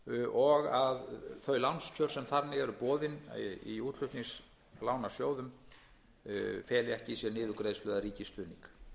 og að þau lánskjör sem þannig eru boðin í útflutningslánasjóðum feli ekki í sér niðurgreiðslu eða ríkisstuðning